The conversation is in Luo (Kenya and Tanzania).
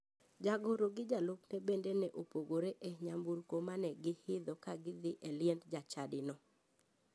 Jagoro gi jalupne bende ne opogore e nyamburko mane giidho ka gidhi e liend jachadino.